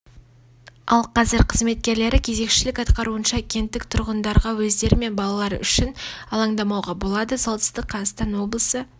ал қазір қызметкерлері кезекшілік атқаруынша кенттік тұрғындарға өздері мен балалары үшін алаңдамауға болады солтүстік қазақстан облысы